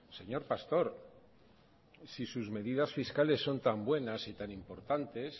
señor pastor si sus medidas fiscales son tan buenas y tan importantes